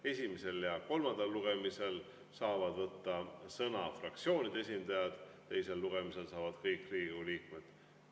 Esimesel ja kolmandal lugemisel saavad sõna võtta fraktsioonide esindajad, teisel lugemisel saavad kõik Riigikogu liikmed.